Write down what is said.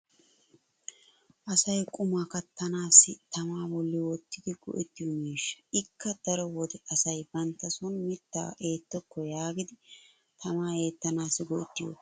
asay qumaa kattanaassi tamaa boli wottidi go'ettiyo miishshaa. ikka daro wode asay bantta son mitaa eettokko yaagidi tamaa eettanaassi go'ettiyoogaa.